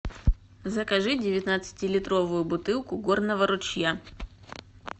закажи девятнадцатилитровую бутылку горного ручья